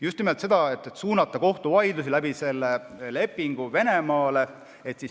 Just nimelt selleks, et suunata kohtuvaidlusi selle abil Venemaale.